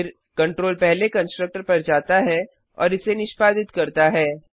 फिर कंट्रोल पहले कंस्ट्रक्टर पर जाता है और इसे निष्पादित करता है